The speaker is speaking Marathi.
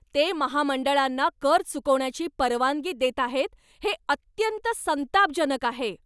ते महामंडळांना कर चुकवण्याची परवानगी देत आहेत हे अत्यंत संतापजनक आहे.